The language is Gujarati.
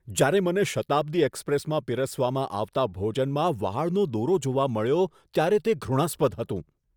જ્યારે મને શતાબ્દી એક્સપ્રેસમાં પીરસવામાં આવતા ભોજનમાં વાળનો દોરો જોવા મળ્યો ત્યારે તે ધૃણાસ્પદ હતું.